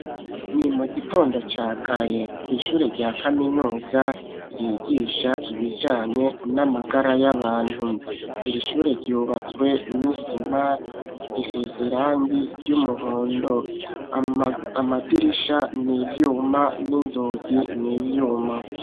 Ni mu gitondo ca kare kw'ishure rya kaminuza ryigisha ibijanye n'amagara y'abantu. Irishure ryubatswe n'isima risize irangi ry'umuhondo, amadirisha n'ivyuma n'inzugi n'ivyuma.